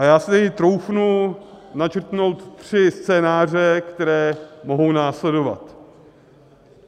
A já si troufnu načrtnout tři scénáře, které mohou následovat.